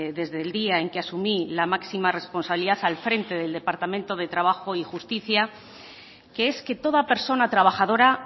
desde el día en que asumí la máxima responsabilidad al frente del departamento de trabajo y justicia que es que toda persona trabajadora